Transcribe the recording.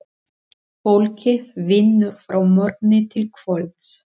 Fólkið vinnur frá morgni til kvölds.